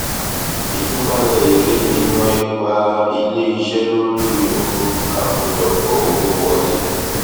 ìtúpalẹ èrè fihan ipa ilé iṣẹ lórí um àkójọpọ owó wọlé